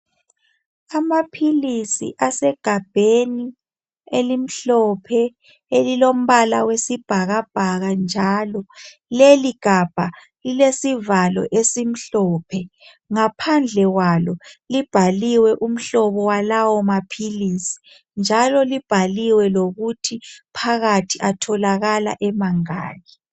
amaphilisi asegabheni elimhlophe elilompala wesibhakabhaka leligabha lilesivalo esimhlophe ngaphandle kwalo libhaliwe umhlobo walawamaphilisi njalo libhaliwe lokuthi phakathi atholakala emangaki